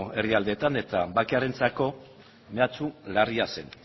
herrialdeetan eta bakearentzako mehatxu larria zen